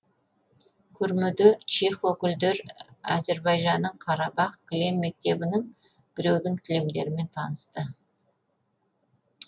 көрмеде чех өкілдер әзірбайжанің қарабах кілем мектебінің біреудің кілемдерімен танысты